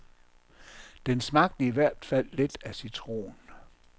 Den smagte i hvert fald lidt af citron.